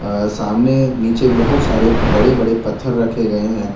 अ सामने नीचे बहोत सारे बड़े बड़े पत्थर रखे गए हैं।